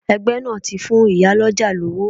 Ẹgbẹ́ náà ti fún ìyá lọ́jà lówó.